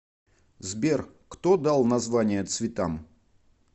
сбер кто дал названия цветам